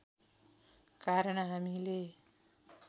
कारण हामीले